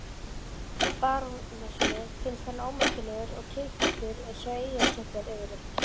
Barónessunni finnst hann ómerkilegur og kiðfættur eins og eyjarskeggjar yfirleitt.